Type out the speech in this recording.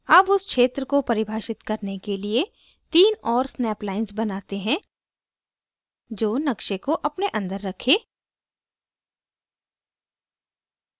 अब उस क्षेत्र को परिभाषित करने के लिए तीन और snap lines बनाते है जो नक़्शे को अपने अंदर रखे